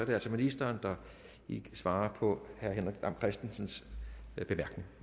det altså ministeren der svarer på herre henrik dam kristensens bemærkning